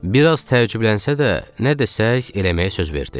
Bir az təəccüblənsə də, nə desək eləməyə söz verdi.